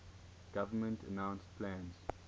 government announced plans